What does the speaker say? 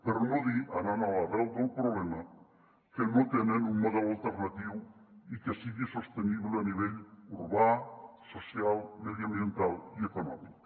per no dir anant a l’arrel del problema que no tenen un model alternatiu i que sigui sostenible a nivell urbà social mediambiental i econòmic